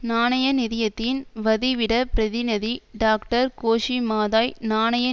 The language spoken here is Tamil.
நாணய நிதியத்தின் வதிவிடப் பிரதிநிதி டாக்டர் கோஷி மாதாய் நாணய